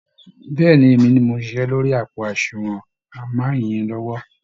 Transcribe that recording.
Bẹ́ẹ̀ ni, Èmi ni mò ń ṣiṣẹ́ lórí àpò àsunwọ̀n màmá yẹn lọ́wọ́